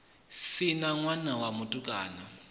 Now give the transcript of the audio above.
si na ṋwana wa mutukana